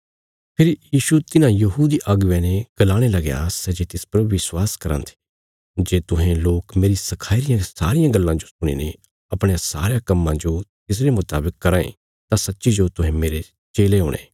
फेरी यीशु तिन्हां यहूदी अगुवेयां ने गलाणे लगया सै जे तिस पर विश्वास कराँ थे जे तुहें लोक मेरी सखाई रियां सारियां गल्लां जो सुणीने अपणयां सारयां कम्मां जो तिसरे मुतावक कराँ ये तां सच्चीजो तुहें मेरे चेले हुणे